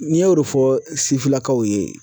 N y'o de fɔ sifilakaw ye